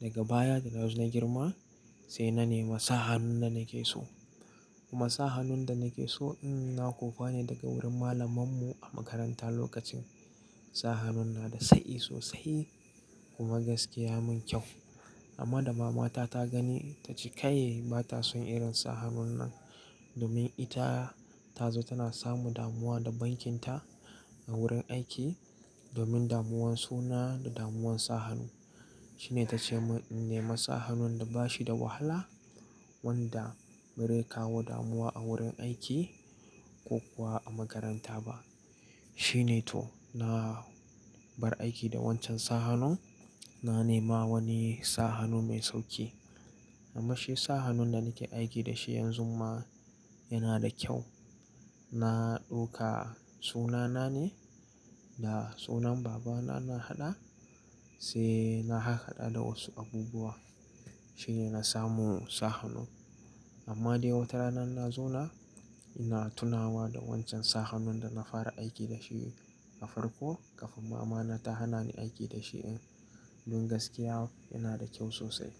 Daga baya da na zo na girma, sai na nema sa hannun da nake so. Kuma sa hannun da nake so, mm, na kokuwa ne daga wurin malaman mu a makaranta lokacin. Sa hannun na da tsayi sosai kuma gaskiya mun kyau. Amma da mama ta ta gani ta ce, "Kai ba ta son irin sa hannun nan." Domin ita, ta zo tana samu damuwa da bankinta a wurin aiki. Domin damuwan suna da damuwan sa hannu. Shine ta ce mun in nema sa hannun da ba shi da wahala wanda barai kawo damuwa a wurin aiki ko kuwa a makaranta ba. Shine to na, bar aiki da wancan sa hannun, na nema wani sa hannu mai sauƙi. Amma shi sa hannun da nake aiki da shi yanzu ma, yana da kyau. Na ɗauka sunana ne da sunan babana na haɗa, sai na hahaɗa da wasu abubuwa. Shine na samu sa hannun. Amma dai wata rana na zo na, ina tunawa da wancan sa hannun da na fara aiki da shi a farko, kafin mama na ta hana ni aiki da shi. Don gaskiya kuwa yana da kyau sosai.